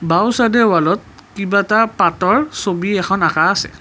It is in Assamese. বাওঁ চাইদে ৱালত কিবা এটা পাতৰ ছবি এখন আঁকা আছে।